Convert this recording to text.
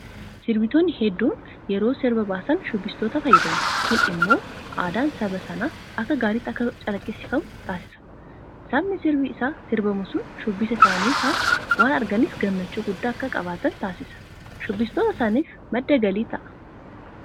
Sirbitoonni hedduun yeroo sirba baasan shubbistootatti fayyadamu. Kun immoo aadaan saba sanaa akka gaariitti akka calaqqisiifamu taasisa. Sabni sirbi isaa sirbamu sun shubbisa isaanii faana waan arganiif gammachuu guddaa akka qabaatan taasisa. Shubbistoota sanaafis madda galii ta'a.